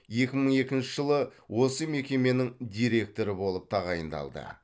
екі мың екінші жылы осы мекеменің директоры болып тағайындалды